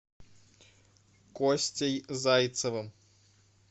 костей зайцевым